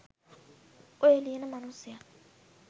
ඔය ලියන මනුස්සයා